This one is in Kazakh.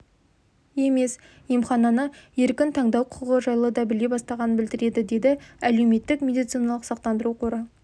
емес емхананы еркін таңдау құқығы жайлы да біле бастағанын білдіреді деді әлеуметтік медициналық сақтандыру қоры